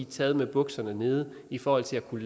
taget med bukserne nede i forhold til at kunne